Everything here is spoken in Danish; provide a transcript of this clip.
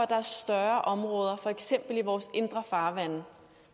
der er større områder for eksempel i vores indre farvande